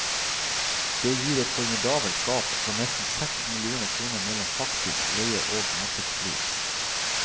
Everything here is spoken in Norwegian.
Det gir et formidabelt gap på nesten seks millioner kroner mellom faktisk leie og markedspris.